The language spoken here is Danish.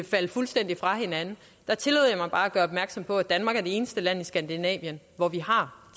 falde fuldstændig fra hinanden at gøre opmærksom på at danmark er det eneste land i skandinavien hvor vi har